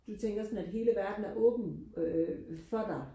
du tænker sådan at hele verden er åben øh for dig